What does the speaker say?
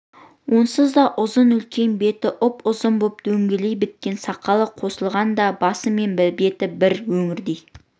онсыз да ұзын үлкен бетіне ұп-ұзын боп дөңгелей біткен сақалы қосылғанда басы мен беті бір өңірдей